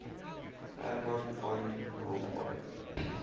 herman van rompuy